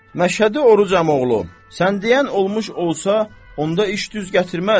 Məşhədi Oruc əmioğlu, sən deyən olmuş olsa, onda iş düz gətirməz.